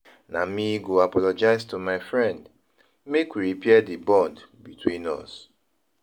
Na me go apologize to my friend make we repair di bond between us.